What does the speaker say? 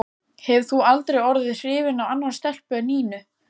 Hefur þú aldrei orðið hrifinn af annarri stelpu en Nínu?